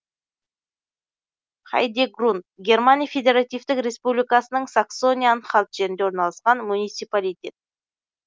хайдегрунд германия федеративтік республикасының саксония анхальт жерінде орналасқан муниципалитет